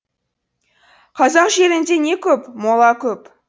қазақ жерінде не көп мола көп